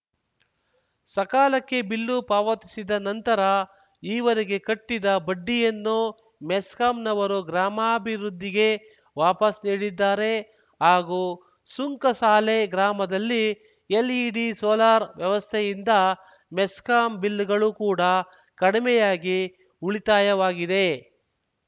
ಸಕಾಲಕ್ಕೆ ಬಿಲ್ಲು ಪಾವತಿಸಿದ ನಂತರ ಈವರೆಗೆ ಕಟ್ಟಿದ್ದ ಬಡ್ಡಿಯನ್ನು ಮೆಸ್ಕಾಂ ನವರು ಗ್ರಾಮಾಭಿವೃದ್ಧಿಗೆ ವಾಪಾಸ್‌ ನೀಡಿದ್ದಾರೆ ಹಾಗೂ ಸುಂಕಸಾಲೆ ಗ್ರಾಮದಲ್ಲಿ ಎಲ್‌ಇಡಿ ಸೋಲಾರ್‌ ವ್ಯವಸ್ಥೆಯಿಂದ ಮೆಸ್ಕಾಂ ಬಿಲ್‌ಗಳು ಕೂಡ ಕಡಿಮೆಯಾಗಿ ಉಳಿತಾಯವಾಗಿದೆ